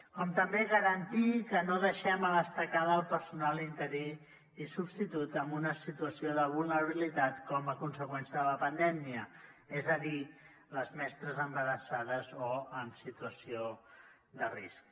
com també garantir que no deixem a l’estacada el personal interí i substitut en una situació de vulnerabilitat com a conseqüència de pandèmia és a dir les mestres embarassades o en situació de risc